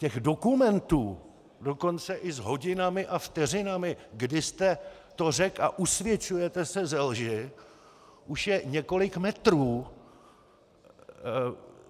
Těch dokumentů, dokonce i s hodinami a vteřinami, kdy jste to řekl, a usvědčujete se ze lži, už je několik metrů.